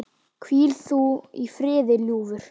Hvíl þú í friði, ljúfur.